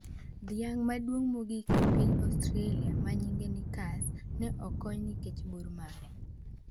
Dhiang' maduong' mogik e piny Australia manyinge Knickers ne okony nikech bor mare